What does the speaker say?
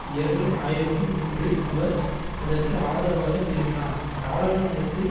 இரண்டு ஆயிரத்தி மூன்றில் அவர் அதற்கு ஆதரவாக திரும்பினார் நாடாளுமன்றத்தில்